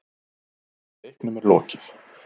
Leiknum er lokið